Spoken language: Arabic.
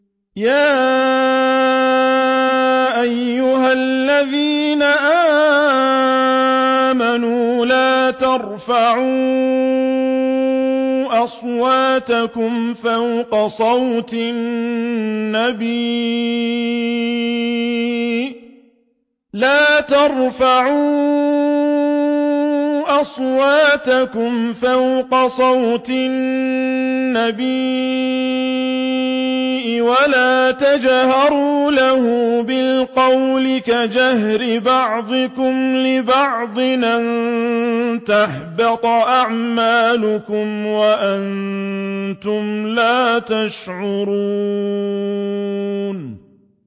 يَا أَيُّهَا الَّذِينَ آمَنُوا لَا تَرْفَعُوا أَصْوَاتَكُمْ فَوْقَ صَوْتِ النَّبِيِّ وَلَا تَجْهَرُوا لَهُ بِالْقَوْلِ كَجَهْرِ بَعْضِكُمْ لِبَعْضٍ أَن تَحْبَطَ أَعْمَالُكُمْ وَأَنتُمْ لَا تَشْعُرُونَ